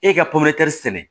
E ka sɛnɛ